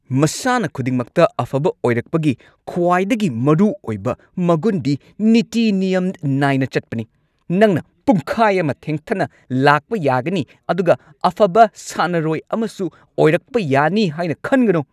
ꯃꯁꯥꯟꯅ ꯈꯨꯗꯤꯡꯃꯛꯇ ꯑꯐꯕ ꯑꯣꯏꯔꯛꯄꯒꯤ ꯈ꯭ꯋꯥꯏꯗꯒꯤ ꯃꯔꯨꯑꯣꯏꯕ ꯃꯒꯨꯟꯗꯤ ꯅꯤꯇꯤ ꯅꯤꯌꯝ ꯅꯥꯏꯅ ꯆꯠꯄꯅꯤ꯫ ꯅꯪꯅ ꯄꯨꯡꯈꯥꯏ ꯑꯃ ꯊꯦꯡꯊꯅ ꯂꯥꯛꯄ ꯌꯥꯅꯤ ꯑꯗꯨꯒ ꯑꯐꯕ ꯁꯥꯟꯅꯔꯣꯏ ꯑꯃꯁꯨ ꯑꯣꯏꯔꯛꯄ ꯌꯥꯒꯅꯤ ꯍꯥꯏꯅ ꯈꯟꯒꯅꯨ ꯫